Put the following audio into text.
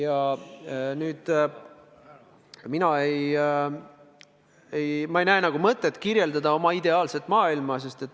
Aga ma ei näe mõtet kirjeldada oma arust ideaalset maailma.